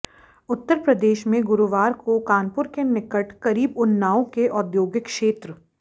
उत्तर प्रदेश में गुरुवार को कानपुर के निकट करीब उन्नाव के औद्योगिक क्षेत्र